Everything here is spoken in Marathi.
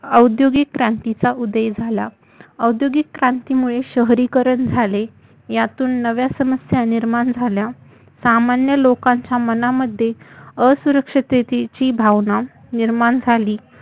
औद्योगिक क्रांतीचा उदय झाला औद्योगिक क्रांती मुळे शहरीकरण झाले यातुन नव्या समस्या निर्माण झाल्या सामान्य लोकांच्या मनामध्ये असुरक्षतेची भावना निर्माण झाली